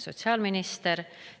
Sotsiaalminister!